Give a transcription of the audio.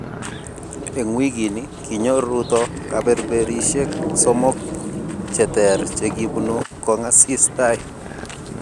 Eng wikini, kinyor Ruto kaberberishek somok che ter che kibunu kongasis tai